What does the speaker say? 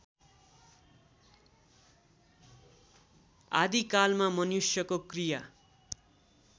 आदिकालमा मनुष्यको क्रिया